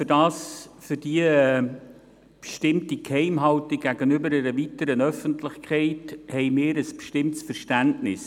Und für die bestimmte Geheimhaltung gegenüber einer weiteren Öffentlichkeit haben wir ein bestimmtes Verständnis.